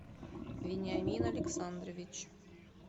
вениамин александрович